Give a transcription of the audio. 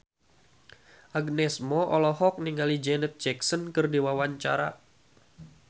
Agnes Mo olohok ningali Janet Jackson keur diwawancara